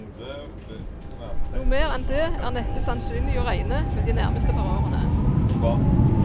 Noe mer enn det er neppe sannsynlig å regne med de nærmeste par årene.